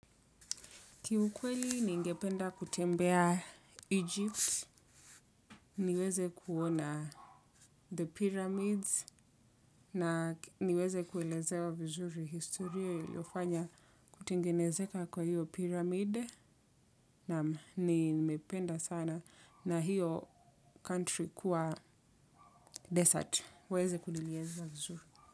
Kiukweli ni ngependa kutembea Egypt, niweze kuona the pyramids na niweze kuwelezewa vizuri historia ilofanya kutengenezeka kwa hiyo pyramid na nimependa sana na hiyo country kuwa desert, uweze kuniliezea vizuri.